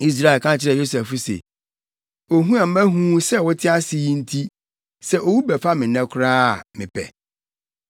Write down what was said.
Israel ka kyerɛɛ Yosef se, “Ohu a mahu wo sɛ wote ase yi nti, sɛ owu bɛfa me nnɛ koraa a, mepɛ.”